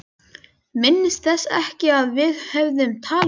Minntist þess ekki að við hefðum talað um það.